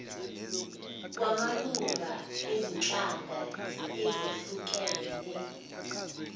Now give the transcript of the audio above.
kwamalunga ezinhlanga ezehlukene